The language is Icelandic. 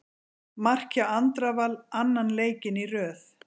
Mark hjá Andra Val annan leikinn í röð.